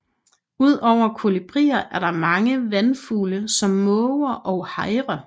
Ud over kolibrier er der mange vandfugle som måger og hejrer